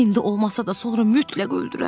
İndi olmasa da, sonra mütləq öldürər.